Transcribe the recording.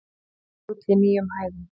Gull í nýjum hæðum